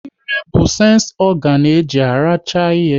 Ịre bụ sensi ọganu e ji aracha ihe